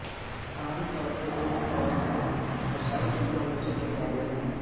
عام طور پر دور دراز تک رسائی ٹیکنالوجی کے بارے میں